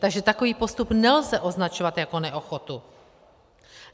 Takže takový postup nelze označovat jako neochotu.